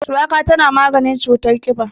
Shuwaka tana maganin cutar ƙiba.